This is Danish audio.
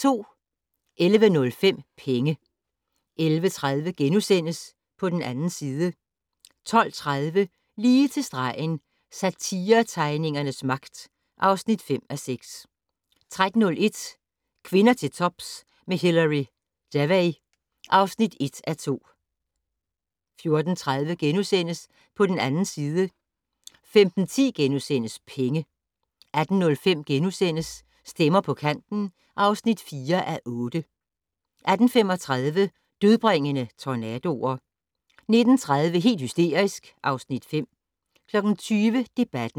11:05: Penge 11:30: På den 2. side * 12:30: Lige til stregen - Satiretegningernes magt (5:6) 13:01: Kvinder til tops med Hilary Devey (1:2) 14:30: På den 2. side * 15:10: Penge * 18:05: Stemmer på kanten (4:8)* 18:35: Dødbringende tornadoer 19:30: Helt hysterisk (Afs. 5) 20:00: Debatten